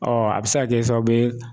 a bɛ se ka kɛ sababu ye.